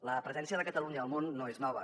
la presència de catalunya al món no és nova